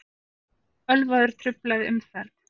Ölvaður truflaði umferð